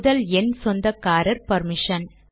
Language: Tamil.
முதல் எண் சொந்தக்காரர் பர்மிஷன்